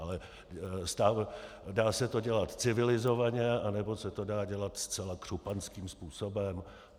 Ale dá se to dělat civilizovaně, anebo se to dá dělat zcela křupanským způsobem.